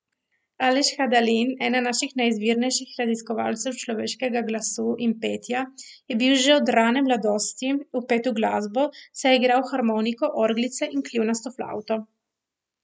Aleš Hadalin, eden naših najizvirnejših raziskovalcev človeškega glasu in petja, je bil že od rane mladosti vpet v glasbo, saj je igral harmoniko, orglice in kljunasto flavto.